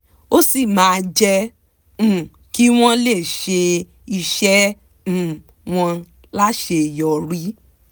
ó sì máa jẹ́ um kí wọ́n lè ṣe iṣẹ́ um wọn láṣeyọrí